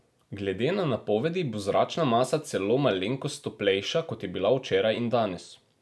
Glede na napovedi bo zračna masa celo malenkost toplejša, kot je bila včeraj in danes.